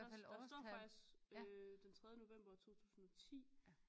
Der står faktisk øh den tredje november 2010